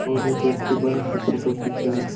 और एक व्यक्ति बाहर से फोटो खींच रहा है।